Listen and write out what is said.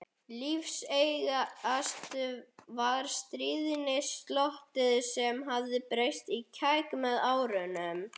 Lífseigast var stríðnisglottið sem hafði breyst í kæk með árunum.